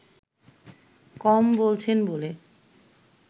কম বলছেন বলে